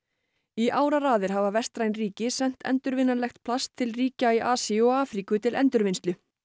í áraraðir hafa vestræn ríki sent plast til ríkja í Asíu og Afríku til endurvinnslu